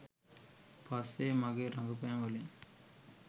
පස්සේ මගේ රඟපෑම්වලින්